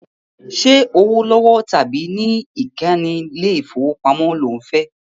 Ṣẹ́ owó lọ́wọ́ tàbí ní ìkànnì ilé ìfowópamọ́ lo fẹ́?